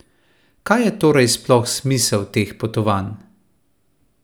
Kaj je torej sploh smisel teh potovanj?